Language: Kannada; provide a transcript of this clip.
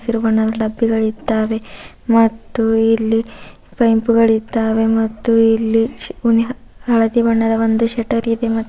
ಹಸಿರು ಬಣ್ಣದ ಡಬ್ಬಿಗಳಿದಾವೆ ಮತ್ತು ಇಲ್ಲಿ ಪೈಪು ಗಳಿದಾವೆ ಮತ್ತು ಇಲ್ಲಿ ಶಿ ವ್ಯೂನ್ಯ ಹಳದಿ ಬಣ್ಣದ ಒಂದು ಶೇಟರ್ ಇದೆ ಮತ್ತು. --